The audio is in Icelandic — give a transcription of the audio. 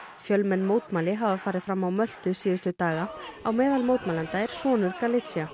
fjölmenn mótmæli hafa farið fram á Möltu síðustu daga á meðal mótmælenda er sonur